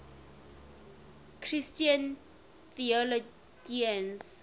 christian theologians